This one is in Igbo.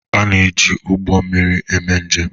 A na-eji ụgbọ mmiri eme njem